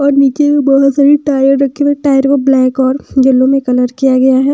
और नीचे भी बहुत सारी टायर रखे हुए टायर को ब्लैक और येलो में कलर किया गया है।